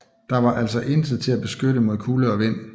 Der var altså intet til at beskytte mod kulde og vind